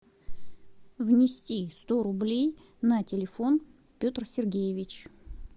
внести сто рублей на телефон петр сергеевич